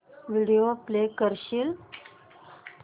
video play करशील